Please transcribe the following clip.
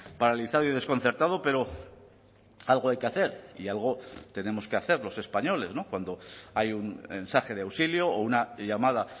paralizado y desconcertado pero algo hay que hacer y algo tenemos que hacer los españoles cuando hay un mensaje de auxilio o una llamada